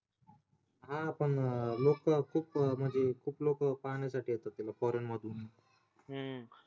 हा पण लोक म्हणजे खूप म्हणजे खूप लोक पाहण्यासाठी येतात foreign मधून